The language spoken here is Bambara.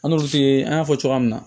an y'a fɔ cogoya min na